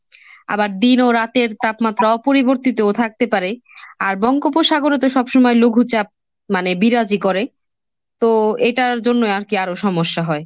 আবার দিন ও রাতের তাপমাত্রা অপরিবর্তিতও থাকতে পারে, আর বঙ্গোপসাগরে তো সবসময় লঘু চাপ মানে বিরাজি করে। তো এটার জন্যই আর কি আরো সমস্যা হয়।